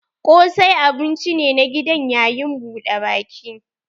Ƙosai abun ci ne na a gidan yayin buɗe baki.